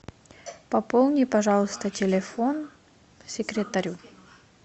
пополни пожалуйста телефон секретарю